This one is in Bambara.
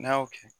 N'a y'o kɛ